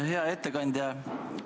Hea ettekandja!